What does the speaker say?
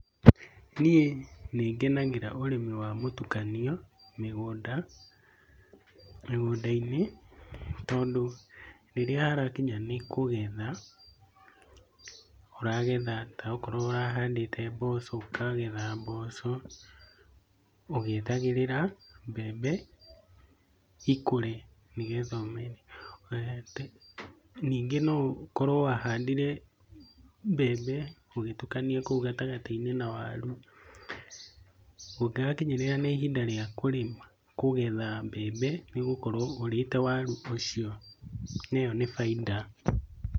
Niĩ nĩngenagĩra ũrĩmi wa mũtukanio ũrĩmi wa mũtukanio mĩgũnda, mĩgũnda-inĩ. Tondũ rĩrĩa harakinya nĩkũgetha ũragetha, taokorwo ũrahadite mboco, ũkagetha mboco ũgĩetagĩrĩra mbembe ikũre nĩgetha. Nyingĩ noũkorwo wahandire mbembe ũgĩtukania kũu gatagatĩ-inĩ na waru, kũngĩgakinyĩrĩra nĩ ihinda rĩa kũgetha mbembe nĩũgũkorwo ũrĩte waru icio. Na ĩyo nĩ bainda.